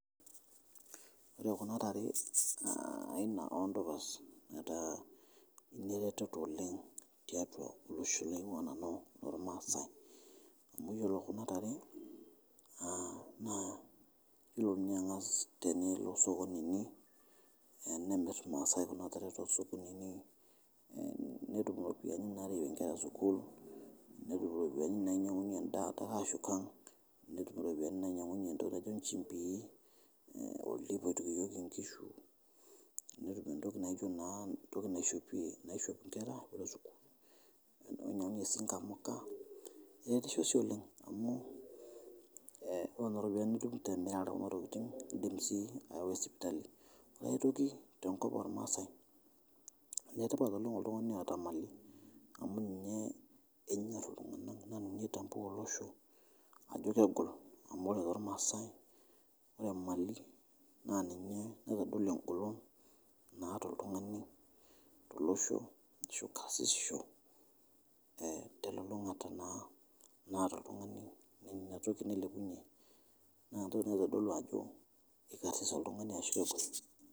Ore kuna tare naa aina ondupas neta neretoto oleng teatua losho laingua nanu lolmaasai, amu iyolo kuna tare naa ore ninye engas tinilo sokoni inyi neya nemir lmaaai kuna tare to sokonini netum ropiani narawie inkera sukuul, netum ropiani nainyang'unye endaa terashuka, netum ropiani nainyang'unye entoki naji ichipii, neiputunyoki inkishu, netum entoki naijo naa naishopi naishop nkera, ajo nanu si nkamuka ekeretisho oleng amu ore neni ropiani indim sii ayau sipitali, aitoki te nkop olmaasai letipata oleng ltungani oota maali amu ninye enyorr ltunganak naa ninye eitambua loshoo ajo kegol amu olmaasaai naa mali naitodolu engolon naa to ltungani to losho ashu karsisho te lulunguta naa naata oltungani ina toki nailepunye ina toki naitodolu ajo ikarsis oltungani ashu mekarsis.